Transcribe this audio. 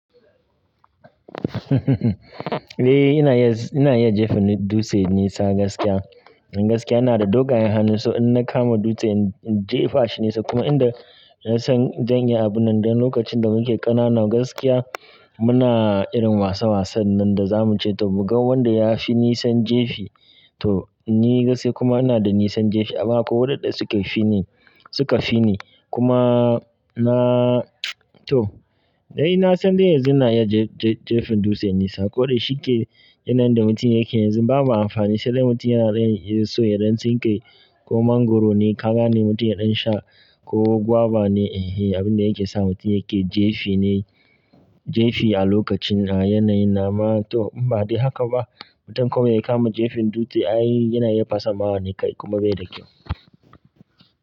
Eh ina iya, ina iya jefin dutse nesa gaskiya. Don gaskiya ina da dogayen hannun, so in na kama dutse in jefa shi nesa. Kuma inda ina son danyi abun nan, dan lokacin da muke ƙanana gaskiya muna irin wasa wasan nan da za mu ce to mu ga wanda ya fi nisan jefi. To ni gaskiya kuma ina da nisan jefi, amma akwai waɗanda suka fi ni, suka fi ni. Kuma na to dai na son dai yanzu ina iya jefin dutse nesa. Ko da shike yanar da mutum yake yanzu babu amfani sai dai mutum yana so ya rantsi kai. Ko mangoro ne, kaza ne mutum ya ɗan sha ko guava ne, eh abin da yake sa mutum yake jefi ne jefi a lokacin a yanayi. Dama to inba dai haka ba, mutum kawai ya kama jefin dutse ai yana iya fasa ma wani kai kuma bai da kyau.